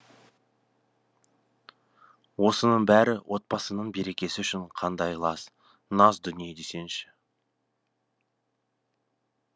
осының бәрі отбасы ның берекесі үшін қандай лас нас дүние десеңші